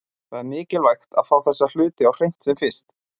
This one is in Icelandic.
Það er mikilvægt að fá þessa hluti á hreint sem fyrst.